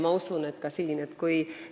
Ma usun, et nii on ka siin.